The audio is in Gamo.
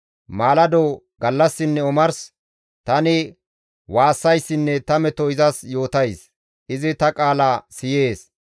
Maalado, gallassinne omars tani waassayssinne ta meto izas yootays; izi ta qaala siyees.